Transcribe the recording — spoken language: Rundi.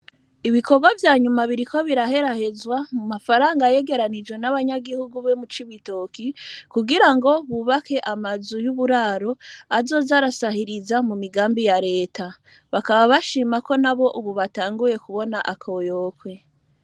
Ibikorwa vyanyuma biriko biraherahezwa mu mafaranga yegeranijwe n'abanyagihugu be mu c' ibitoki kugira ngo bubake amazu y'uburaro azozarasahiriza mu migambi ya leta, bakaba bashimako na bo ubu batanguye kubona akoyokwe.